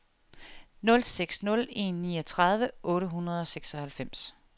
nul seks nul en niogtredive otte hundrede og seksoghalvfems